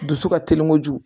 Dusu ka teli kojugu